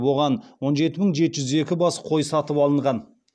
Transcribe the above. оған он жеті мың жеті жүз екі бас қой сатып алынған